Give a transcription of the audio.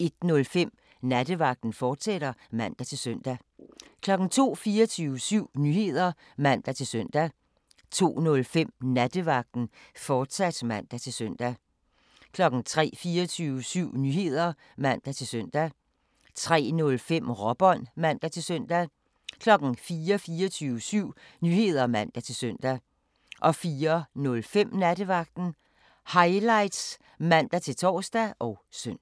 01:05: Nattevagten, fortsat (man-søn) 02:00: 24syv Nyheder (man-søn) 02:05: Nattevagten, fortsat (man-søn) 03:00: 24syv Nyheder (man-søn) 03:05: Råbånd (man-søn) 04:00: 24syv Nyheder (man-søn) 04:05: Nattevagten Highlights (man-tor og søn)